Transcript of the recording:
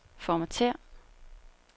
formatér